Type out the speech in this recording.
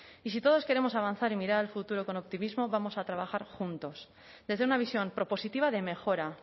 y si todos queremos avanzar y mirar al futuro con optimismo vamos a trabajar juntos desde una visión propositiva de mejora